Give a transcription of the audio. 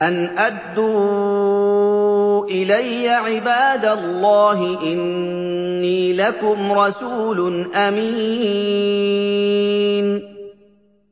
أَنْ أَدُّوا إِلَيَّ عِبَادَ اللَّهِ ۖ إِنِّي لَكُمْ رَسُولٌ أَمِينٌ